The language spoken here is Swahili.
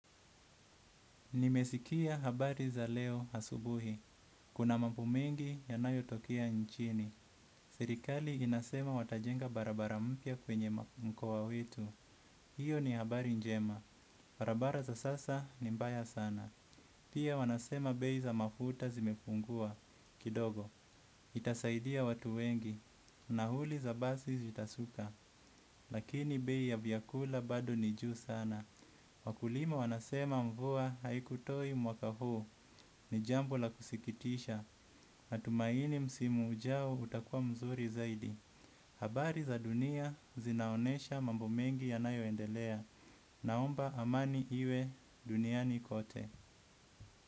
Nimesikia habari za leo asubuhi. Kuna mambo mengi yanayo tokia nchini. Serikali wanasema watajenga barabara mpya kwenye mkoa wetu. Iyo ni habari njema. Barabara za sasa ni mbaya sana. Pia wanasema bei za mafuta zimepungua. Kidogo. Itasaidia watu wengi. Nauli za basi zitasuka. Lakini bei ya vyakula bado nijuu sana. Wakulima wanasema mvua haikutoi mwaka huu ni jambo la kusikitisha natumaini msimu ujao utakua mzuri zaidi. Habari za dunia zinaonesha mambo mengi yanayo endelea. Naomba amani iwe duniani kote.